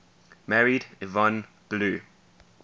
married yvonne blue